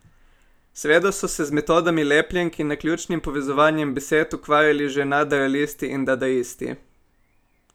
Seveda so se z metodami lepljenk in naključnim povezovanjem besed ukvarjali že nadrealisti in dadaisti.